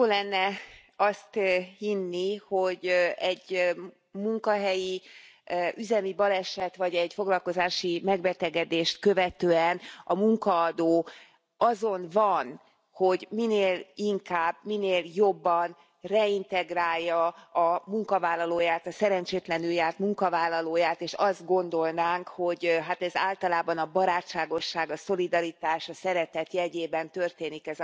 Jó lenne azt hinni, hogy egy munkahelyi üzemi baleset, vagy egy foglalkozási megbetegedést követően a munkaadó azon van, hogy minél inkább, minél jobban reintegrálja a munkavállalóját, a szerencsétlenül járt munkavállalóját, és azt gondolnánk, hogy hát ez a folyamat általában a barátságosság, a szolidaritás, a szeretet jegyében történik.